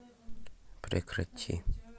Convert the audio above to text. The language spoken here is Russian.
прекрати